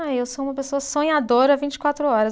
Ah, eu sou uma pessoa sonhadora vinte e quatro horas.